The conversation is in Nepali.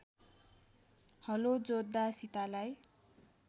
हलो जोत्दा सीतालाई